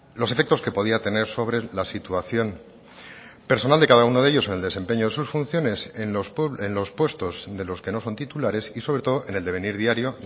los efectos que podía tener sobre la situación personal de cada uno de ellos en el desempeño de sus funciones en los puestos de los que no son titulares y sobre todo en el devenir diario